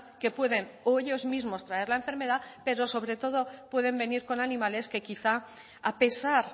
que pueden o ellos mismos traer la enfermedad pero sobre todo pueden venir con animales que quizá a pesar